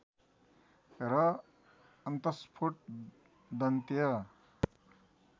र अन्तस्फोट दन्त्य